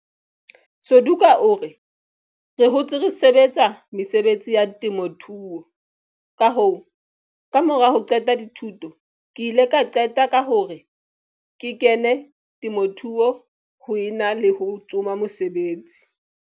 Suduka o re, re hotse re sebetsa mesebetsi ya temothuo, kahoo, kamora ho qeta dithuto ke ile ka qeta ka hore ke kene temothuong ho e na le ho tsoma mosebetsi.